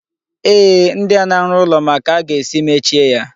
Eeh, ndị na-arụ ụlọ ma ka a ga-esi mechie ya.